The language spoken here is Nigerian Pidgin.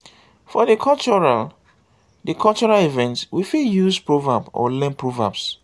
for di cultural di cultural event we fit use proverb or learn proverbs um